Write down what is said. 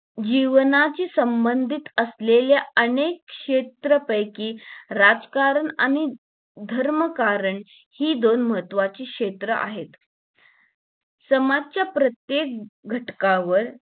जीवनाशी संबंधित असलेल्या अनेक क्षेत्रापैकी राजकारण आणि धर्मकारण हि दोन महत्वाची क्षेत्र आहेत समाजाच्या प्रत्येक घटकावर